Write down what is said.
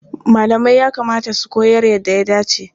Malamai ya kamata su koyar yadda ya dace.